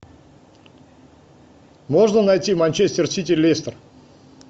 можно найти манчестер сити лестер